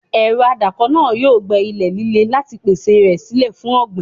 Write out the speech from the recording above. Ẹ̀rọ adáko náà yóò gbẹ́ ilẹ̀ líle láti pèsè rẹ̀ sílẹ̀ fún ọ̀gbìn.